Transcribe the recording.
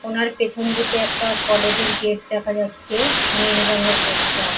উনার পেছনদিকে একটা কলেজ -এর গেট দেখা যাচ্ছে নীল রংয়ের গেট টা।